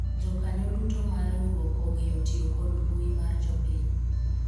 jokanyo duto mar riwruok ong'eyo tiyo kod mbui mar jopiny